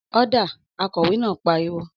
Ọ́dà!, Akọ̀wé náà pariwo